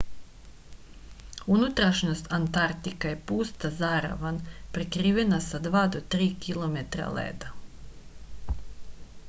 unutrašnjost antartika je pusta zaravan prekrivena sa 2-3 km leda